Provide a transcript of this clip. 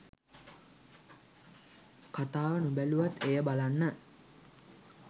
කතාව නොබැලුවත් එය බලන්න